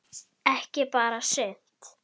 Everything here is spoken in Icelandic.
Ekki bara sumt.